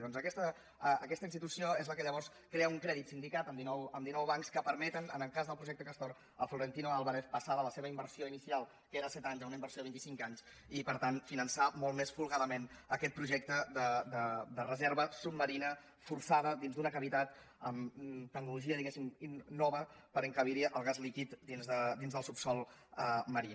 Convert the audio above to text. doncs aquesta institució és la que llavors crea un crèdit sindicat amb dinou bancs que permeten en el cas del projecte castor a florentino pérez passar de la seva inversió inicial que era a set anys a una inversió a vint i cinc anys i per tant finançar molt més folgadament aquest projecte de reserva submarina forçada dins d’una cavitat amb tecnologia diguem ne nova per encabir el gas líquid dins del subsòl marí